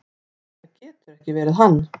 """Nei, það getur ekki verið hann."""